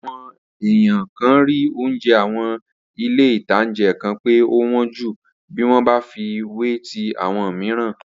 Awọn èèyàn kan rí oúnjẹ àwọn ilé-ìtánjẹ kan pé ó wọ́n ju bí wọ́n bá fi wé ti àwọn mìíràn